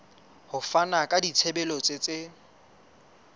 ho fana ka ditshebeletso tse